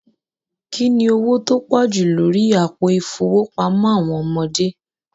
Kíni ọwọ̀ tó pọ̀ jú lórí àpò ifowópamọ̀ àwọn ọmọdé?